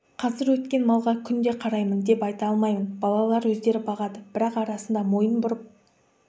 қазір өткен малға күнде қараймын деп айта алмаймын балалар өздері бағады бірақ арасында мойын бұрып